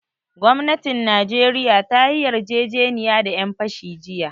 Gwamnatin najeriya ta yi yarjejeniya da ƴan fashi jiya